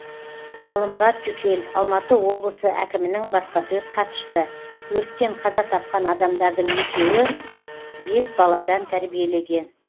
ғалымұрат жүкел алматы облысы әкімінің баспасөз хатшысы өрттен қаза тапқан адамдардың екеуі бес баладан тәрбиелеген